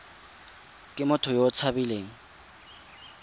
ke motho yo o tshabileng